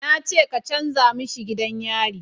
Na ce ka canja mishi gidan yari